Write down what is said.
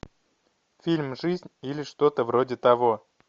фильм жизнь или что то вроде того